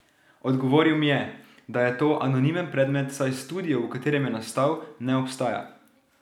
Odgovoril mi je, da je to anonimen predmet, saj studio, v katerem je nastal, ne obstaja.